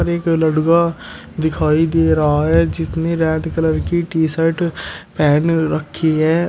और एक लड़का दिखाई दे रहा है जिसने रेड कलर की टी शर्ट पहन रखी है।